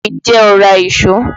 Ǹjẹ́ o ra ìṣó?